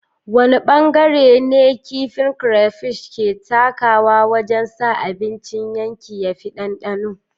Wane bangare ne kifin crayfish ke takawa wajen sa abincin yanki ya fi ɗanɗano?